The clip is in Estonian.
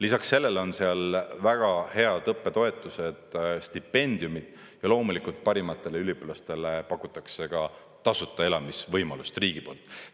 Lisaks sellele on seal väga head õppetoetused, stipendiumid ja loomulikult, parimatele üliõpilastele pakutakse ka tasuta elamisvõimalust riigi poolt.